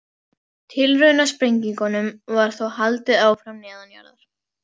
Tilraunasprengingum var þó haldið áfram neðanjarðar.